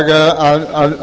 á fjárlögum að